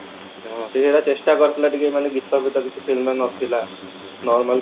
ହଁ ସେ ଚେଷ୍ଟା କରିଥିଲା ଟିକେ ମାନେ ଗୀତ ଫିତ କିଛି film ରେ ନଥିଲା normal